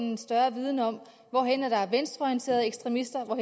en større viden om hvor er der venstreorienterede ekstremister og